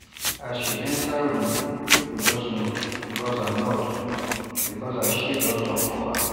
as she enter room people just nod because her nod because her sheep don talk for her